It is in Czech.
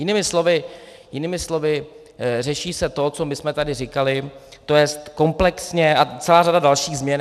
Jinými slovy, řeší se to, co my jsme tady říkali, to jest komplexně, a celá řada dalších změn.